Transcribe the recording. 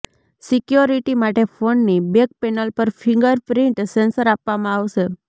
security માટે ફોનની back panel પર ફિંગર પ્રિન્ટ સેન્સર આપવામાં આવશે